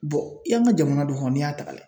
i y'an ka jamana don n'i y'a taga lajɛ